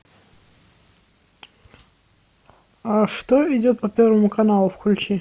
а что идет по первому каналу включи